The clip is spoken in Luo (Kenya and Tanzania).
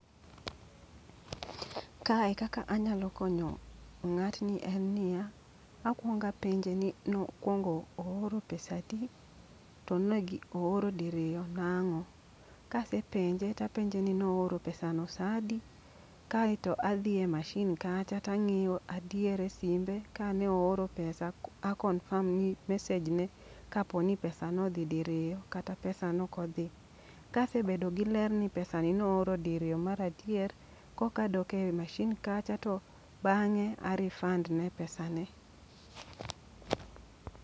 Kae kaka anyalo konyo ng'atni en niya, akwonga penje ni no kwongo ooro pesa adi, to ne gi ooro diriyo nang'o. Kasepenje tapenje ni nooro pesa no sa adi? Kaeto adhi e mashin kacha tang'iyo adier e simbe ka ne ooro pesa, a confirm ni mesej ne kaponi pesa nodhi diriyo kata pesa nokodhi. Kase bedo gi ler ni pesa ni nooro mar adier, kokadok e mashin kacha to bang'e a refund ne pesa ne.